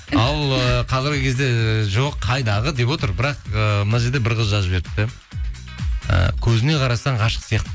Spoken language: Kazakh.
ал ыыы қазіргі кезде жоқ қайдағы деп отыр бірақ ыыы мына жерде бір қыз жазып жіберіпті і көзіне қарасаң ғашық сияқты